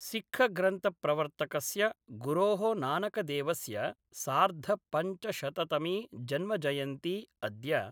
सिक्खग्रंथप्रवर्तकस्य गुरो: नानकदेवस्य सार्धपञ्चशततमी जन्मजयन्ती अद्य